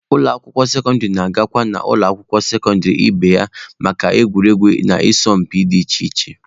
Ụlọ akwụkwọ sekọndịrị na-agakwa n'ụlọ akwụkwọ sekọndịrị ibe ha maka egwuregwu na asọmpi dị iche iche.